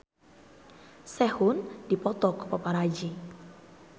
Sehun dipoto ku paparazi